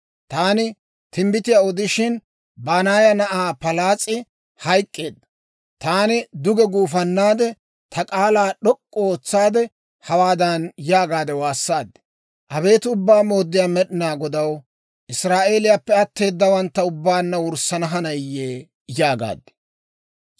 Taani timbbitiyaa odishin, Banaaya na'aa Palaas'ee hayk'k'eedda; taani duge gufannaade, ta k'aalaa d'ok'k'u ootsaade, hawaadan yaagaade waassaad; «Abeet Ubbaa Mooddiyaa Med'inaa Godaw, Israa'eeliyaappe atteedawantta ubbaanna wurssana hanayiyee?» yaagaad.